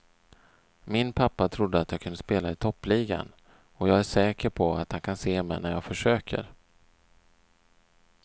Min pappa trodde att jag kunde spela i toppligan och jag är säker på att han kan se mig när jag försöker.